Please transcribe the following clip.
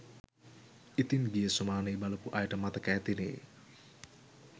ඉතින් ගිය සුමානෙ බලපු අයට මතක ඇතිනෙ